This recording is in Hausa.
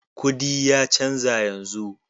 Kudi ya canza yanzu.